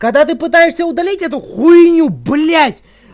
когда ты пытаешься удалить эту хуйню блять